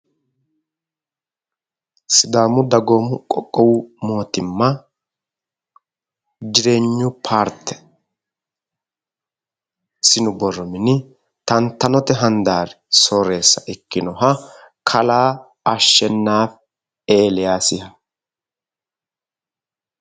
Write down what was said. Sidaamu dagoomu qoqqowi mootimma jireenyu paarte sinu borro mini tantanote handasri soreessa ikkinoha kalaa ashenaafi eliyaasiha.